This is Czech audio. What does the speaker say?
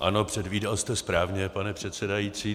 Ano, předvídal jste správně, pane předsedající.